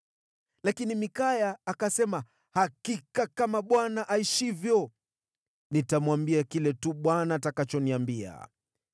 Lakini Mikaya akasema, “Hakika kama Bwana aishivyo, nitamwambia kile tu Bwana atakachoniambia.”